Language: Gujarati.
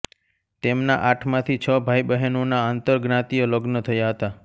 તેમના આઠમાંથી છ ભાઈબહેનોના આંતરજ્ઞાતિય લગ્ન થયા હતા